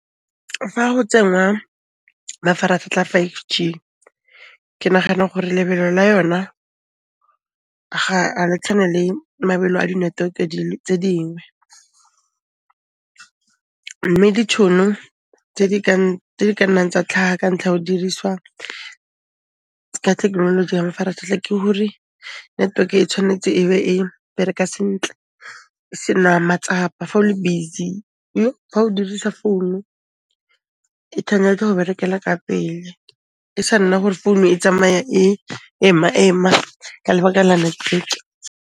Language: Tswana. Fa go tsengwa mafaratlhatlha a five g, ke nagana gore lebelo la yona ga le tshwane le mabelo a di network tse dingwe, mme ditšhono tse di ka nnang tsa tlhaha kantlha ya ho diriswa ka thekenoloji ya mafaratlhatlha ke hore network e tshwanetse e be e bereka sentle, e se na matsapa fa o le busy, fa o dirisa phone-u e tshwanetse go berekela ka pele, e sa nna gore phone e tsamaya e ema-ema ka lebaka la network.